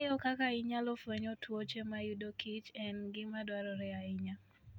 Ng'eyo kaka inyalo fweny tuoche mayudo kichen gima dwarore ahinya.